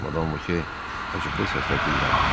Madam Voke acıqlı səslə dilləndi.